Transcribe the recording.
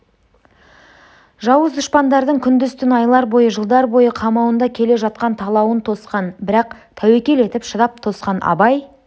жауыз дұшпандардың күндіз-түн айлар бойы жылдар бойы қамауында келе жатқан талауын тосқан бірақ тәуекел етіп шыдап тосқан абай